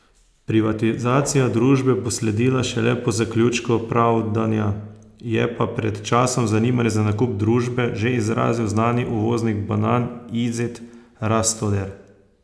Privatizacija družbe bo sledila šele po zaključku pravdanja, je pa pred časom zanimanje za nakup družbe že izrazil znani uvoznik banan Izet Rastoder.